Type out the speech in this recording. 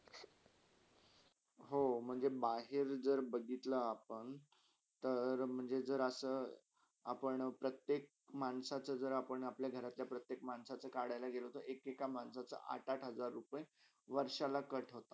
हो, म्हणजे बाहेर जर बघितला अपण तर म्हणजे जर असा अपण प्रतेक माण्साचा जरआपण अपल्या घरच्या प्रतेक माण्साचा करायला जेल तर एक - एका माण्साचा आठ - आठ हज्जार रुपे वर्षाला cut होतात.